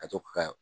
Ka to ka